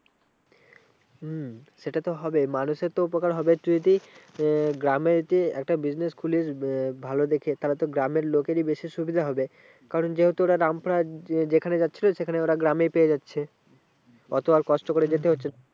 হম সেটা তো হবে মানুষের তো উপকার হবে একটু যদি আহ গ্রামে যদি একটা business খুলিস আহ ভালো দেখে তাহলে তো গ্রামের লোকেরই বেশি সুবিধা হবে। কারণ যেহেতু ওরা রামপুরহাট যেখানে যাচ্ছিলো সেখানে ওরা গ্রামে পেয়ে যাচ্ছে। অত আর কষ্ট করে যেতে হচ্ছে না।